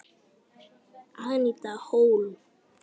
Aníta Hólm.